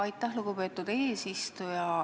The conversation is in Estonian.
Aitäh, lugupeetud eesistuja!